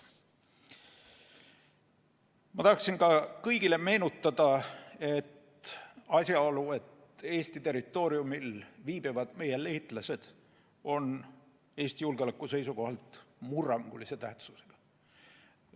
Ma tahan kõigile meenutada asjaolu, et Eesti territooriumil viibivad liitlasüksused on Eesti julgeoleku seisukohalt murrangulise tähtsusega.